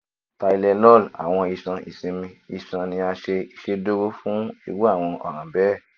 tylenol awọn iṣan isinmi iṣan ni a ṣe iṣeduro fun iru awọn ọran bẹẹ